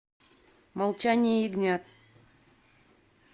молчание ягнят